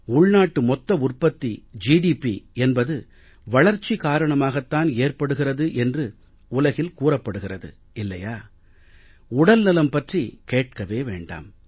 உள்நாட்டு மொத்த உற்பத்தி என்பது வளர்ச்சி காரணமாகத்தான் ஏற்படுகிறது என்று உலகில் கூறப்படுகிறது இல்லையா உடல் நலம் பற்றி கேட்கவே வேண்டாம்